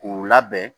K'u labɛn